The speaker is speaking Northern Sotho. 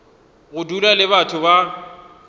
go dula le batho ba